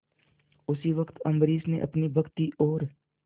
उसी वक्त अम्बरीश ने अपनी भक्ति और